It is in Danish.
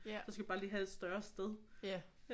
Så skal vi bare lige have et større sted